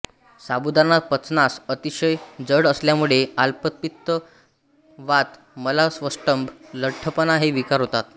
साबुदाणा पचनास अतिशय जड असल्यामुळे आम्लपित्त वात मलावष्टंभ लठ्ठपणा हे विकार होतात